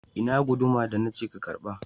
Ina guduma da na ce ka karba?